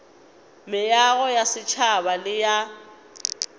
meago ya setšhaba le ya